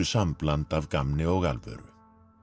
sambland af gamni og alvöru